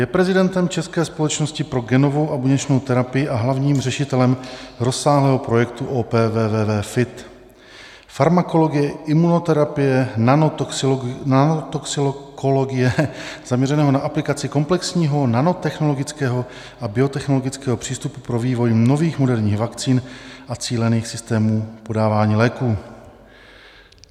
Je prezidentem České společnosti pro genovou a buněčnou terapii a hlavním řešitelem rozsáhlého projektu OPVVV FIT, farmakologie, imunoterapie, nanotoxikologie, zaměřeného na aplikaci komplexního nanotechnologického a biotechnologického přístupu pro vývoj nových moderních vakcín a cílených systémů podávání léků.